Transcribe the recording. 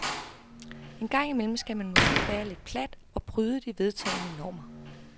En gang imellem skal man måske være lidt plat og bryde de vedtagne normer.